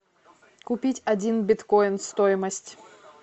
купить один биткоин стоимость